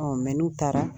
n'u taara